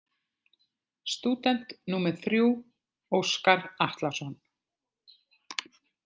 Stúdent númer þrjú: Óskar Atlason.